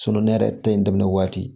ne yɛrɛ ta in daminɛ waati